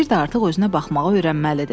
Bir də artıq özünə baxmağı öyrənməlidir.